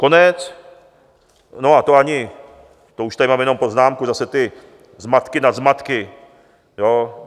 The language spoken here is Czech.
Konec - no, a to ani, to už tady mám jenom poznámku, zase ty zmatky nad zmatky.